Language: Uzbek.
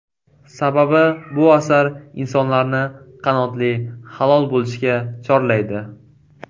Sababi bu asar insonlarni qanoatli, halol bo‘lishga chorlaydi.